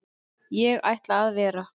Ég ætla að vera.